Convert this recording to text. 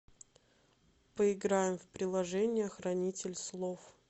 поиграем в приложение хранитель слов